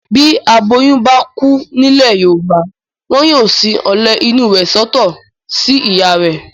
Bí aboyún bá kú nílẹ̀ Yorùbá. Wọn yóò sin ọ̀lẹ̀ inú rẹ̀ sọ́tọ̀ sí ìyá rẹ̀.